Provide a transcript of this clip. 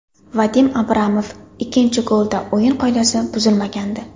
Vadim Abramov: Ikkinchi golda o‘yin qoidasi buzilmagandi.